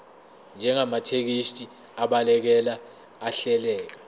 njengamathekisthi abhaleke ahleleka